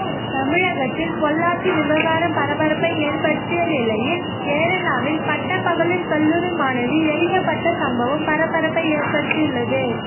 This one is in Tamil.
தமிழகத்தில் பொள்ளாச்சி விவகாரம் பரபரப்பை ஏற்படுத்திய நிலையில் கேரளாவில் பட்டப்பகலில் கல்லூரி மாணவி எரிக்கப்பட்ட சம்பவம் பரபரப்பை ஏற்படுத்தியுள்ளது